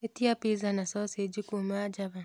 ĩtĩa piza na thotheji kũũma java